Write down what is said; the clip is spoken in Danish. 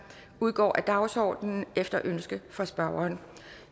udgår af dagsordenen efter ønske fra spørgeren